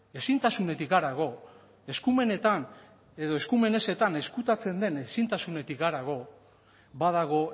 ezintasunetik harago eskumenetan edo eskumen ezetan ezkutatzen den ezintasunetik harago badago